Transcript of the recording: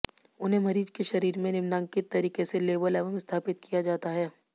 उन्हें मरीज के शरीर में निम्नांकित तरीके से लेबल एवं स्थापित किया जाता है